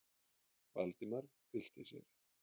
Valdimar tyllti sér.